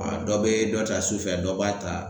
dɔ bɛ dɔ ta su fɛ dɔ b'a ta